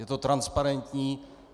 Je to transparentní.